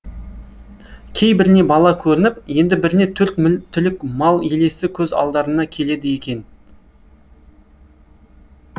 кейбіріне бала көрініп енді біріне төрт түлік мал елесі көз алдарына келеді кекен